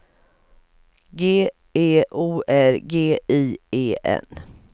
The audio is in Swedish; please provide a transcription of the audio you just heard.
G E O R G I E N